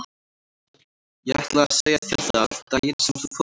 Ég ætlaði að segja þér það daginn sem þú fórst norður.